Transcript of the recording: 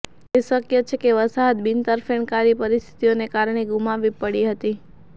એ શક્ય છે કે વસાહત બિનતરફેણકારી પરિસ્થિતિઓને કારણે ગુમાવવી પડી હતી